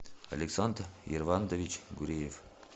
александр ервандович гуреев